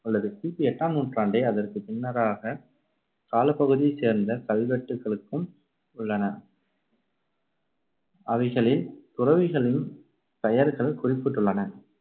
உள்ளது கி பி எட்டாம் நூற்றாண்டே, அதற்குப் பின்னராக காலப்பகுதியைச் சேர்ந்த கல்வெட்டுக்களுக்கும் உள்ளன. அவைகளில் துறவிகளின் பெயர்கள் குறிப்பிட்டுள்ளன.